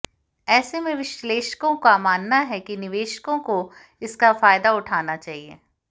ऐसे में विश्लेषकों का मानना है कि निवेशकों को इसका फायदा उठाना चाहिए